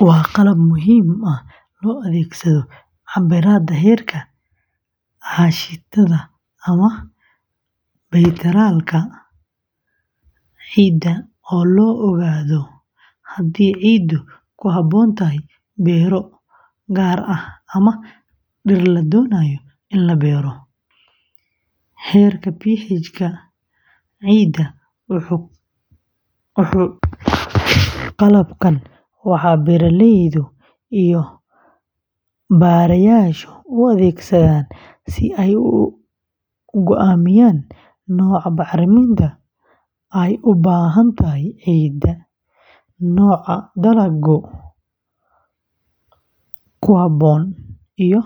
Waa qalab muhiim ah oo loo adeegsado cabbiraadda heerka aashitada ama baytaraalka ciidda si loo ogaado haddii ciiddu ku habboon tahay beero gaar ah ama dhir la doonayo in la beero. Heerka pH-ga ciidda wuxuu ka dhaxeeyaa. Qalabkan waxaa beeraleyda iyo baarayaashu u adeegsadaan si ay u go’aamiyaan nooca bacriminta ay u baahan tahay ciidda, nooca dalagga ku habboon, iyo